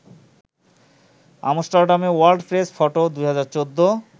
আমস্টার্ডামেওয়ার্ল্ড press ফটো-২০১৪